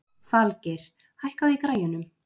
Falgeir, hækkaðu í græjunum.